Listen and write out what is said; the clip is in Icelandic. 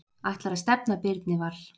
Ætlar að stefna Birni Val